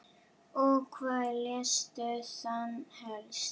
Og hvað lestu þá helst?